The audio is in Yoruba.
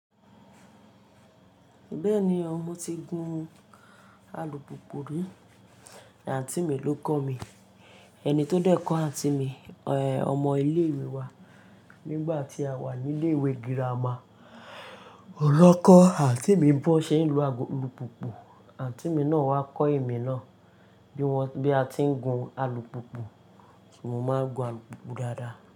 Bẹ́ẹ̀ni o, mo ti gun alùpùpù rí, àǹtí mi ló kọ́ mi. Ẹni tó dẹ́ kọ àǹtí mi, ọmọ ilé ìwé wa. Nígbà tí a wà ní ilé ìwé girama, ohun lọ́kọ̀ àǹtí mi bọ́ ṣe é lu alùpùpù. Àǹtí mi náà wá kọ́ èmi náà bí a ti ń gun alùpùpù, kí mo máa gun alùpùpù dáadáa.